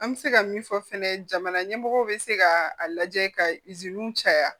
An bɛ se ka min fɔ fɛnɛ jamana ɲɛmɔgɔw bɛ se ka a lajɛ ka caya